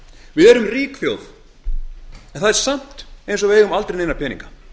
við erum rík þjóð en það er samt eins og við eigum aldrei peninga